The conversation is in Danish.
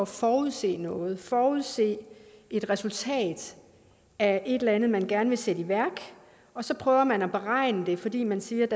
forudse noget forudse et resultat af et eller andet man gerne vil sætte i værk og så prøver man at beregne det fordi man siger at